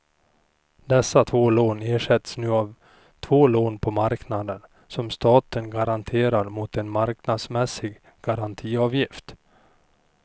Dessa två lån ersätts nu av två lån på marknaden som staten garanterar mot en marknadsmässig garantiavgift.